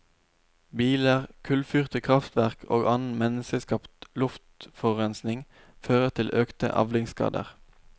Biler, kullfyrte krafftverk og annen menneskeskapt luftforurensning fører til økte avlingsskader.